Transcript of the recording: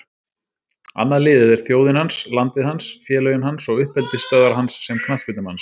Annað liðið er þjóðin hans, landið hans, félögin hans og uppeldisstöðvar hans sem knattspyrnumanns.